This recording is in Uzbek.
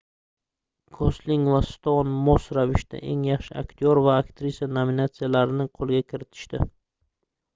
gosling va stoun mos ravishda eng yaxshi aktyor va aktrisa nominatsiyalarini qoʻlga kiritishdi